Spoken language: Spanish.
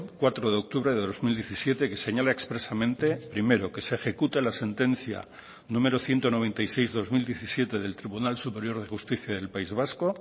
cuatro de octubre de dos mil diecisiete que señala expresamente primero que se ejecute la sentencia número ciento noventa y seis barra dos mil diecisiete del tribunal superior de justicia del país vasco